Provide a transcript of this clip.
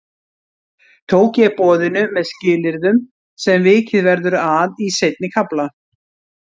Tók ég boðinu með skilyrðum sem vikið verður að í seinni kafla.